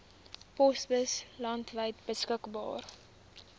posbusse landwyd beskikbaar